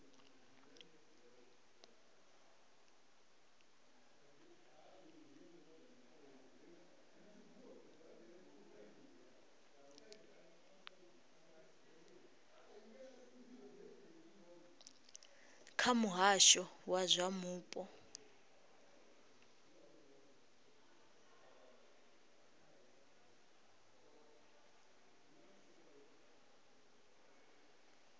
kha muhasho wa zwa mupo